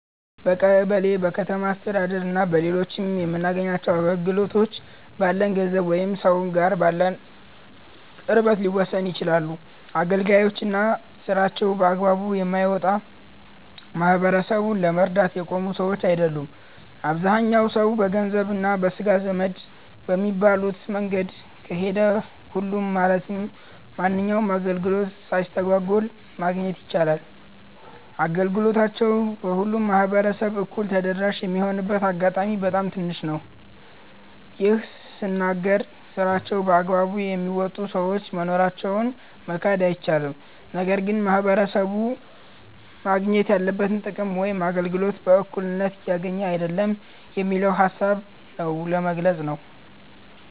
በቀበሌ፣ በከተማ አስተዳደር እና በሌሎችም የምናገኘው አገልግሎት፣ ባለን ገንዘብ ወይም ሰውየው ጋር ባለን ቅርበት ሊወሰን ይችላል። አገልጋዮች እና ስራቸውን በአግባቡ የማይወጣ፣ ማህበረሰቡን ለመርዳት የቆሙ ሰዎች አይደሉም። አብዛኛው ሰው በገንዘብ እና ለስጋ ዘመድ በሚባሉት መንገድ ከሄደ፣ ሁሉም ማለትም ማንኛውንም አገልግሎት ሳይስተጓጎል ማግኘት ይችላል። አገልግሎታቸው ለሁሉም ማህበረሰብ እኩል ተደራሽ የሚሆንበት አጋጣሚ በጣም ትንሽ ነው። ይህን ስናገር ስራቸውን በአግባቡ የሚወጡ ሰዎች መኖራቸውን መካድ አይቻልም። ነገር ግን ማህበረሰቡ ማግኘት ያለበትን ጥቅም ወይም አገልግሎት በእኩልነት እያገኘ አይደለም የሚለውን ሃሳብ ነው ለመግለፅ ነው።